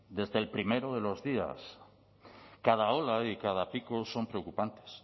desde el primero de los días cada ola y cada pico son preocupantes